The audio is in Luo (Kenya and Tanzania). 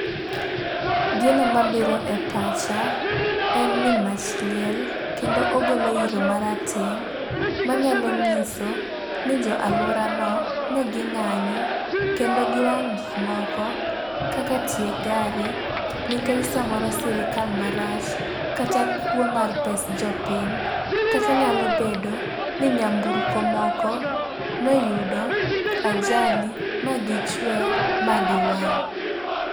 Gino mabiro e pacha en ni mach liel, kendo ogolo iro marateng' manyalo nyiso ni jo aluora no ne ging'anyo kendo giwang'o gik moko kaka tie gari. Nikech samoro sirikal marach kata kuo mar pes jopiny. Kata nyalo bedo ni nyamburko moko ne oyudo ajali ma gichwe ma giwang'.